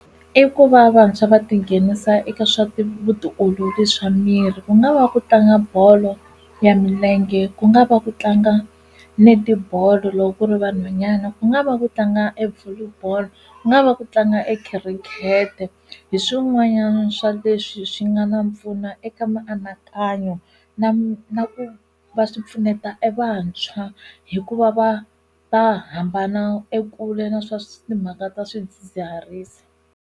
I ku va vantshwa va tinghenisa eka swa ti vutiolori swa miri ku nga va ku tlanga bolo ya milenge ku nga va ku tlanga netibolo loko ku ri vanhwanyana ku nga va ku tlanga e volley boll ku nga va ku tlanga ekhirikete hi swin'wanyana swa leswi swi nga na pfuna eka mianakanyo na na ku va swi pfuneta evantshwa hikuva va va hambana ekule na swa timhaka ta swidzidziharisi.